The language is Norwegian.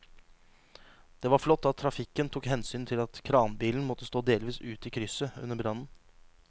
Det var flott at trafikken tok hensyn til at kranbilen måtte stå delvis ute i krysset under brannen.